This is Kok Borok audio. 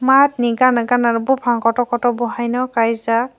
mat ni gana gana bopang kotor kotor bo haino kaijak.